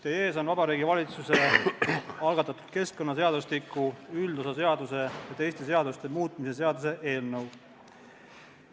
Teie ees on Vabariigi Valitsuse algatatud keskkonnaseadustiku üldosa seaduse ja teiste seaduste muutmise seaduse eelnõu.